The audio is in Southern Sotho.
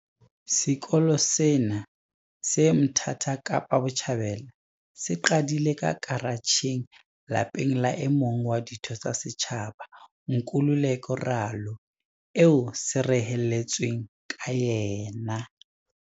Sekolo sena, se Mthatha Kapa Botjhabela, se qadile ka karatjheng lapeng la e mong wa ditho tsa setjhaba, Nkululeko Ralo, eo se reheletsweng ka yena.